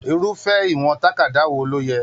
Irufẹ ìwọ̀n tàkádá wò ló yẹ?